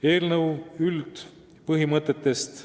Eelnõu üldpõhimõtetest.